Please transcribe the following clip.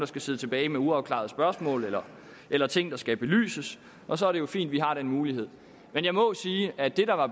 skal sidde tilbage med uafklarede spørgsmål eller eller ting der skal belyses og så er det jo fint at vi har den mulighed men jeg må sige at det der var